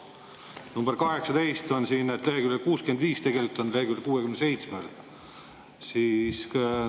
Number 18 leheküljel 65, tegelikult on leheküljel 67.